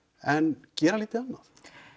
en gera lítið annað